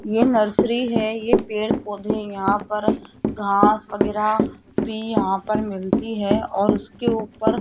ये नर्सरी है ये पेड़ पौधे यहां पर घास वगैरा भी यहां पर मिलती है और उसके ऊपर --